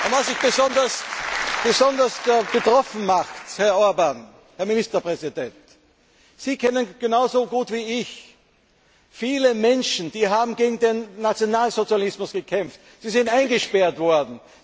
Was mich besonders betroffen macht, Herr Orbán, Herr Ministerpräsident Sie kennen genauso gut wie ich viele Menschen, die gegen den Nationalsozialismus gekämpft haben. Sie sind eingesperrt worden.